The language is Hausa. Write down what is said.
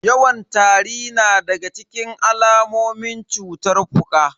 Yawan tari na daga cikin alamomin cutar fuka.